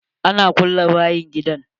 An kulle bayan gidan.